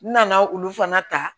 N nana olu fana ta